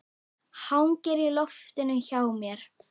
Hangir í loftinu hjá mér.